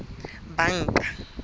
banka